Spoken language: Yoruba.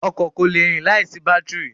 Ọkọ̀ kò le rìn láìsí bátìrì.